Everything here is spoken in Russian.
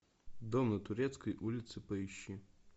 дом на турецкой улице поищи